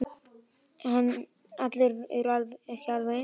Já, stundi hann loks og lagði bókina frá sér.